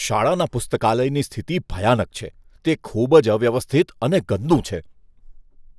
શાળાના પુસ્તકાલયની સ્થિતિ ભયાનક છે, તે ખૂબ જ અવ્યવસ્થિત અને ગંદું છે.